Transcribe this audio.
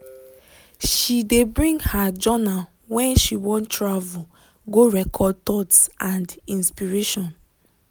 she de bring her journal when she want travel go record thoughts and inspirations.